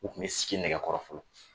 U kun bi sigi nɛgɛ kɔrɔ fɔlɔ.